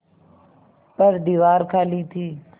पर दीवार खाली थी